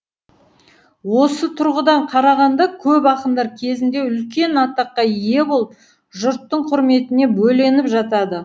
осы тұрғыдан қарағанда көп ақындар кезінде үлкен атаққа ие болып жұрттың құрметіне бөленіп жатады